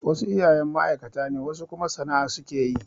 Wasu iyayen ma'aikata ne wasu kuma sana'a su ke yi.